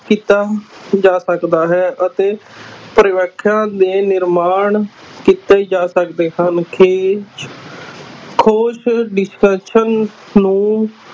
ਕੀਤਾ ਜਾ ਸਕਦਾ ਹੈ ਅਤੇ ਦੇ ਨਿਰਮਾਣ ਕੀਤੇ ਜਾ ਸਕਦੇ ਹਨ ਖੇ ਖੋਜ ਨੂੰ